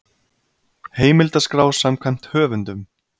Heimildaskrá samkvæmt höfundum.